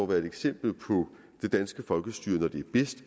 været et eksempel på det danske folkestyre når det er bedst